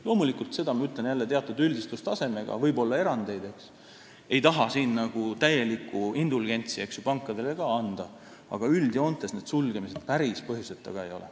Loomulikult, seda ma ütlen jälle teatud üldistustasemega, võib olla erandeid – ei taha siin pankadele ka täielikku indulgentsi anda –, aga üldjoontes need sulgemised päris põhjuseta ka ei ole.